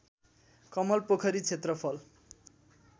कमल पोखरी क्षेत्रफल